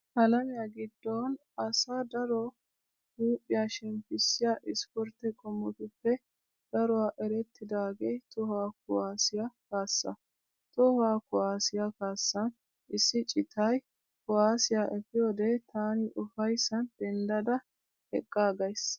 Alamiya giddon asaa daro huuphiya shemppissiya ispportte qommotuppe daruwa erettidaagee tohuwa kuwaassiya kaassaa. Tohuwa kuwaassiya kaassan issi citay kuwaassiya efiyode taani ufayssan dendda eqqaaggays.